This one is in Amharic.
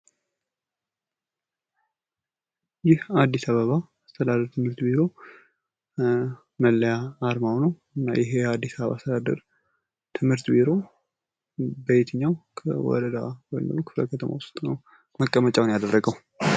ይህ አዲስ አበባ አስተዳደር ትምህርት ቢሮ መለያ አርማ ነው። ይህ የአዲስ አበባ አስተዳደር ትምህርት ቢሮ በየትኛው ወረዳ ወይም ክልል ውስጥ ነው መቀመጫውን ያደረገው?